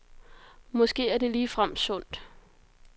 Måske er det ligefrem sundt.